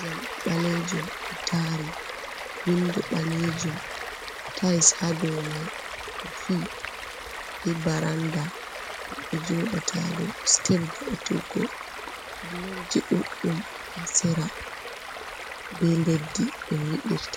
jamɗe ɓalejum ɗo tari, window ɓalejum, tiles haɗo mai kofi ba baranda ɓe joɗata ɗo step vau'tuggo, blockji ɗuɗɗum ha sera be leddi ɓe nyiɓirta.